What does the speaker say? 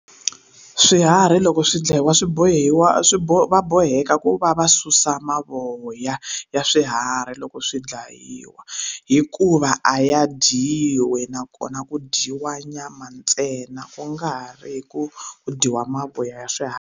Swiharhi loko swi dlayiwa swi bohiwa swi va boheka ku va va susa mavoya ya swiharhi loko swi dlayiwa hikuva a ya dyiwi nakona ku dyiwa nyama ntsena ku nga ri hi ku dyiwa mavoya ya swiharhi.